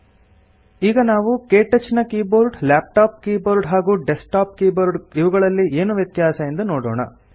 ಈಗ ನಾವು ಕ್ಟಚ್ ನ ಕೀಬೋರ್ಡ್ ಲ್ಯಾಪ್ಟಾಪ್ ಕೀಬೋರ್ಡ್ ಹಾಗೂ ಡೆಸ್ಕ್ಟಾಪ್ ಕೀಬೋರ್ಡ್ ಇವುಗಳಲ್ಲಿ ಏನು ವ್ಯತ್ಯಾಸ ಎಂದು ನೋಡೋಣ